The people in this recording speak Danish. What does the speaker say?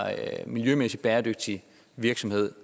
miljømæssigt bæredygtig virksomhed